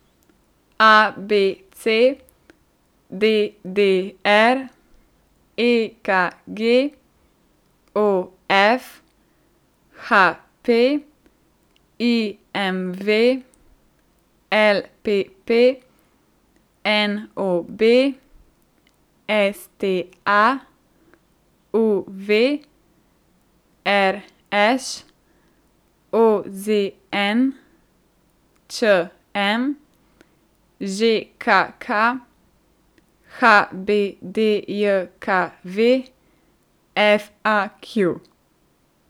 A B C; D D R; E K G; O F; H P; I M V; L P P; N O B; S T A; U V; R Š; O Z N; Č M; Ž K K; H B D J K V; F A Q.